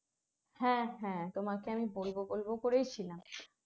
হ্যাঁ হ্যাঁ তোমাকে আমি বলব বলব করেই ছিলাম